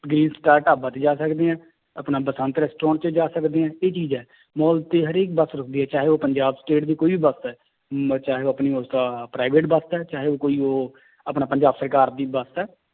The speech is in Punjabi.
ਢਾਬਾ ਤੇ ਜਾ ਸਕਦੇ ਹੈ ਆਪਣਾ ਬਸੰਤ restaurant ਚ ਜਾ ਸਕਦੇ ਹੈ ਇਹ ਚੀਜ਼ ਹੈ, ਮਾਲ ਤੇ ਹਰੇਕ ਬਸ ਰੁੱਕਦੀ ਹੈ ਚਾਹੇ ਉਹ ਪੰਜਾਬ state ਦੀ ਕੋਈ ਵੀ ਬਸ ਹੈ ਮ ਚਾਹੇ ਆਪਣੀ private ਬਸ ਹੈ ਚਾਹੇ ਉਹ ਕੋਈ ਉਹ ਆਪਣਾ ਪੰਜਾਬ ਸਰਕਾਰ ਦੀ ਬਸ ਹੈ